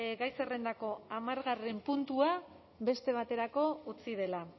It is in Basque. gai zerrendako hamargarren puntua beste baterako utzi dela